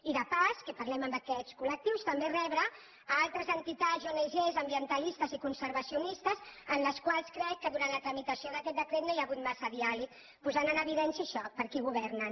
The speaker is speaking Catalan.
i de passada que parlem amb aquests col·lectius també rebre altres entitats i ong ambientalistes i conservacionistes amb les quals crec que durant la tramitació d’aquest decret no hi ha hagut massa diàleg posant en evidència això per a qui governen